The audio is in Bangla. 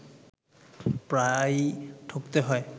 প্রায়ই ঠকতে হয়